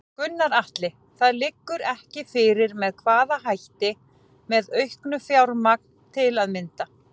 Gunnar Atli: Það liggur ekki fyrir með hvaða hætti, með auknu fjármagn til að mynda?